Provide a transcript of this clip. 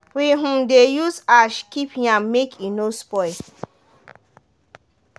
we um dey use ash keep yam make e no spoil.